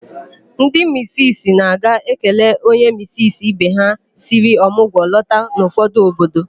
Ndi misisi na-aga ekele onye misisi ibe ha siri ọmụgwọ lọta n'ụfọdụ obodo.